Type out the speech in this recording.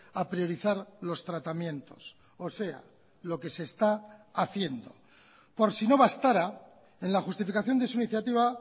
a priorizar los tratamientos o sea lo que se está haciendo por si no bastara en la justificación de su iniciativa